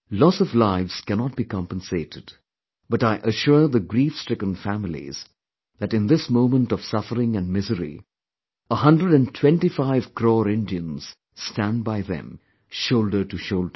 Loss of lives cannot be compensated, but I assure the griefstricken families that in this moment of suffering& misery, a hundred & twenty five crore Indians stand by them, shoulder to shoulder